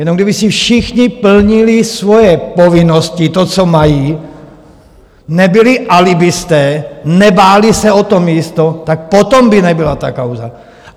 Jenom kdyby si všichni plnili svoje povinnosti, to co mají, nebyli alibisté, nebáli se o to místo, tak potom by nebyla ta kauza.